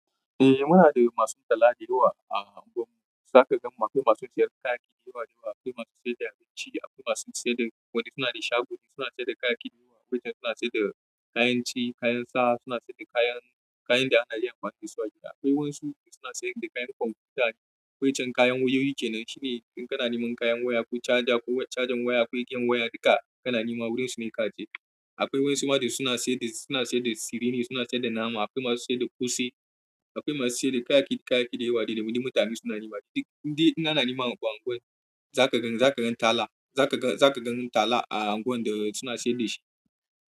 Eh muna da masu tala da yawa a unguwar mu, za ka gan akwai masu sayar da kayayyaki da yawa da yawa, akwai masu sayar da abinci, akwai masu sayar da wanda suna da shago suna sayar da kayayyaki da yawa, wajen suna sayar da kayan ci, kayan sa suna sayar da kayan, kayan da ana iya amfani da su a gida. Akwai wasu suna sayar da kayan kwamfuta ne, wai can kayan wayoyi kenan shine in kana neman kayan waya ko caja ko cajan waya ko igiyan waya duka kana nema wurin su ne ka je. Akwai wasu ma da suna sayar da, suna sayar da tsiri ne suna sayar da nama, akwai masu sayar da ƙosai, akwai masu sayar da kayayyaki, kayayyaki da yawa da da wani mutane suna nema. Indai ana nema abu a unguwan zaka gan tala zaka gan tala a unguwan suna sayar da shi.